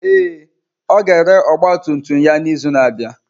Ee, ọ ga-ere ọgba tum tum ya n'izu na-abịa.